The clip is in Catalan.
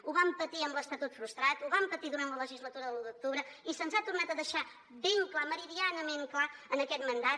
ho vam patir amb l’estatut frustrat ho vam patir durant la legislatura de l’u d’octubre i se’ns ha tornat a deixar ben clar meridianament clar en aquest mandat